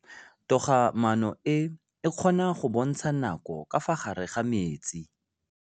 Toga-maanô e, e kgona go bontsha nakô ka fa gare ga metsi.